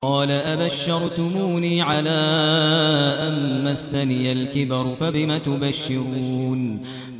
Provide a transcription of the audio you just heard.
قَالَ أَبَشَّرْتُمُونِي عَلَىٰ أَن مَّسَّنِيَ الْكِبَرُ فَبِمَ تُبَشِّرُونَ